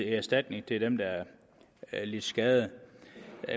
erstatning til dem der har lidt skade